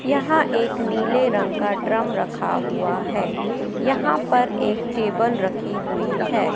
यहां एक नीले रंग का ड्रम रखा हुआ है यहां पर एक टेबल रखी हुई है।